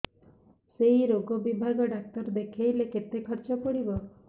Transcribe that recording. ସେଇ ରୋଗ ବିଭାଗ ଡ଼ାକ୍ତର ଦେଖେଇଲେ କେତେ ଖର୍ଚ୍ଚ ପଡିବ